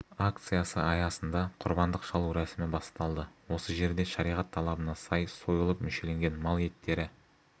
акциясы аясында құрбандық шалу рәсімі басталады осы жерде шариғат талабына сай сойылып мүшеленген мал еттері